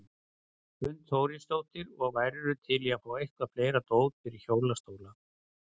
Hrund Þórsdóttir: Og værirðu til í að fá eitthvað fleira dót fyrir hjólastóla?